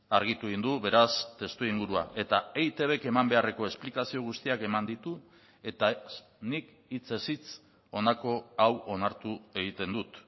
argitu egin du beraz testuingurua eta eitbk eman beharreko esplikazio guztiak eman ditu eta nik hitzez hitz honako hau onartu egiten dut